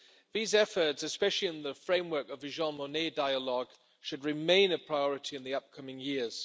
These efforts, especially in the framework of the Jean Monnet Dialogue, should remain a priority in the upcoming years.